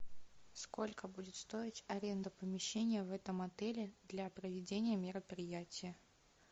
сколько будет стоить аренда помещения в этом отеле для проведения мероприятия